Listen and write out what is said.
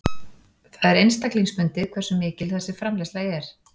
Það er einstaklingsbundið hversu mikil þessi framleiðsla er.